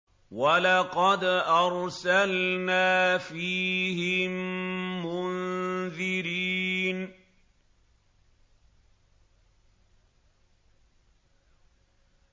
وَلَقَدْ أَرْسَلْنَا فِيهِم مُّنذِرِينَ